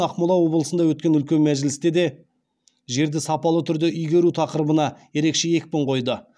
ақмола облысында өткен үлкен мәжілісте де жерді сапалы түрде игеру тақырыбына ерекше екпін қойды